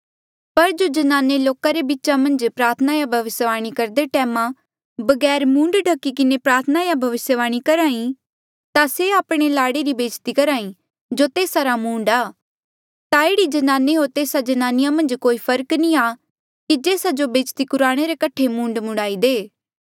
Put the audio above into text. पर जो ज्नाने लोका रे बीच मन्झ प्रार्थना या भविस्यवाणी करदे टैम बगैर मूंड ढख्ही किन्हें प्रार्थना या भविस्यवाणी करहा ई ता से आपणे लाड़े री बेज्जती करहा ईं जो तेस्सा रा मूंड आ ता एह्ड़ी जनाने होर तेस्सा जन्नानी मन्झ कोई फर्क नी आ कि जेस्सा जो बेज्जती कुराणे रे कठे मूंड मूंडाईं दे